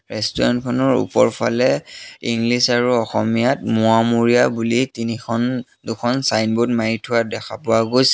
ৰেষ্টুৰেণ্টখনৰ ওপৰফালে ইংলিছ আৰু অসমীয়াত মোৱামৰীয়া বুলি তিনিখন দুখন ছাইনব'ৰ্ড মাৰি থোৱা দেখা পোৱা গৈছে।